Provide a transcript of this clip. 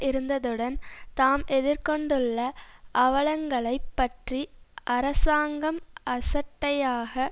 இருந்ததுடன் தாம் எதிர் கொண்டுள்ள அவலங்களைப் பற்றி அரசாங்கம் அசட்டையாக